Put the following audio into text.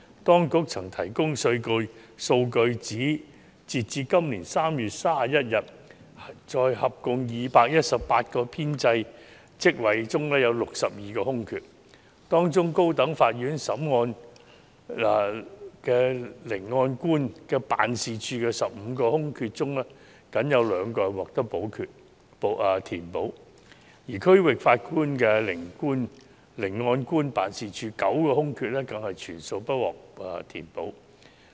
當局曾提供數據，指截至今年3月31日，在合共218個編制職位中有62個空缺，當中高等法院聆案官辦事處的15個空缺中僅有2個獲得填補，而區域法院聆案官辦事處9個空缺更全數不獲填補。